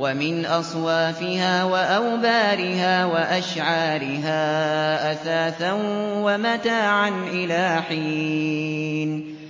وَمِنْ أَصْوَافِهَا وَأَوْبَارِهَا وَأَشْعَارِهَا أَثَاثًا وَمَتَاعًا إِلَىٰ حِينٍ